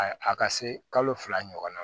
A a ka se kalo fila ɲɔgɔn ma